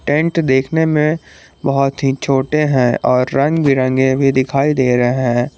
Tent देखने में बहोत ही छोटे हैं और रंग बिरंगे भी दिखाई दे रहे हैं।